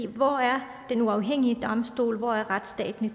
hvor er den uafhængige domstol hvor er retsstaten i